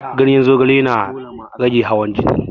Ganyen zogale yana rage hawan jini